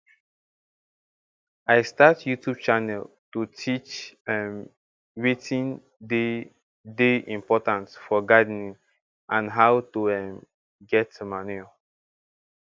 i start youtube channel to teach um watin dey dey important for gardening and how to um get manure